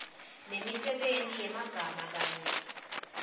nemisebenti yemagama kanye